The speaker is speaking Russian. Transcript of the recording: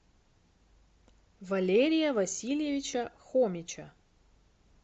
валерия васильевича хомича